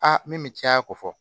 Aa min bɛ caya ko fɔ